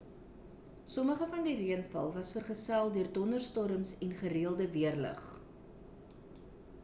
sommige van die reënval was vergeself deur donderstorms en gereelde weerlig